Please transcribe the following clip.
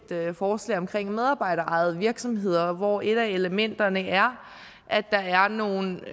forslag omkring medarbejderejede virksomheder hvor et af elementerne er at der er nogle